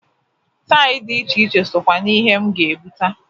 Tail di iche iche sokwa n'ihe m ga-ebuta.